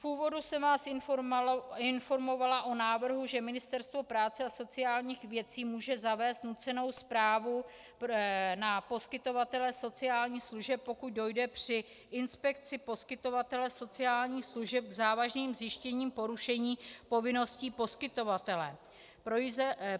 V úvodu jsem vás informovala o návrhu, že Ministerstvo práce a sociálních věcí může zavést nucenou správu na poskytovatele sociálních služeb, pokud dojde při inspekci poskytovatele sociálních služeb k závažným zjištěním porušení povinností poskytovatele.